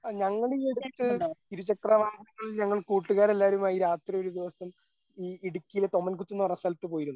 ആ ഞങ്ങളീ അടുത്ത് ഇരുചക്രവാഹനങ്ങളിൽ ഞങ്ങൾ കൂട്ടുകാരെല്ലാവരും വൈ രാത്രി ഒരു ദിവസം ഈ ഇടുക്കിയിലെ തൊമ്മൻകുത്ത് എന്ന് പറഞ്ഞ സ്ഥലത്ത് പോയിരുന്നു.